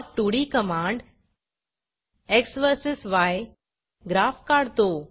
plot2D command X versus Y graph काढतो